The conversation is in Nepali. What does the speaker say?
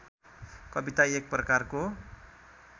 कविता एक प्रकारको